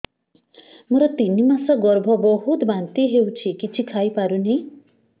ମୋର ତିନି ମାସ ଗର୍ଭ ବହୁତ ବାନ୍ତି ହେଉଛି କିଛି ଖାଇ ପାରୁନି